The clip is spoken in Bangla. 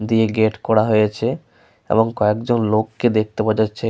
দিয়ে গেট করা হয়েছে এবং কয়েকজন লোককে দেখতে পাওয়া যাচ্ছে।